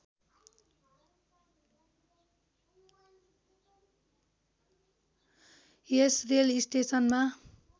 यस rail स्टेसनमा